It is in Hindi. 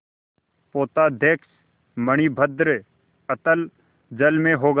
पोताध्यक्ष मणिभद्र अतल जल में होगा